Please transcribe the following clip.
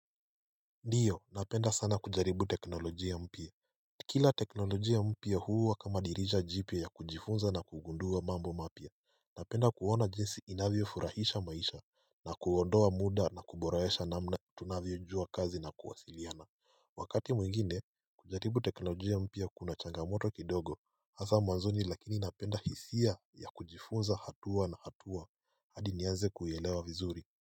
Ndiyo napenda sana kujaribu teknolojia mpya Kila teknolojia mpya huwa kama dirisha jipya ya kujifunza na kugundua mambo mapya Napenda kuona jinsi inavyofurahisha maisha na kuondoa muda na kuboresha namna tunavyojua kazi na kuwasiliana Wakati mwingine kujaribu teknolojia mpya kuna changamoto kidogo hasa mwanzoni lakini napenda hisia ya kujifunza hatua na hatua hadi nianze kuielewa vizuri.